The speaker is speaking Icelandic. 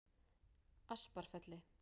Asparfelli